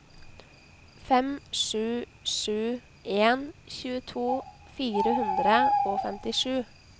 fem sju sju en tjueto fire hundre og femtisju